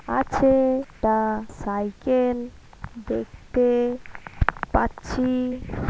আছে টা সাইকেল দেখতে পাচ্ছি।